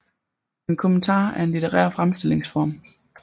En kommentar er en litterær fremstillingsform